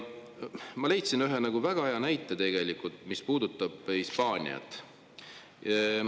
Ma leidsin ühe väga hea näite, mis puudutab Hispaaniat.